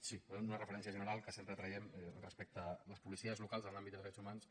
sí faré una referència general que sempre traiem respecte a les policies locals en l’àmbit de drets humans